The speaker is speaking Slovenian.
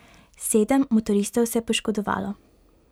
Sedem motoristov se je poškodovalo.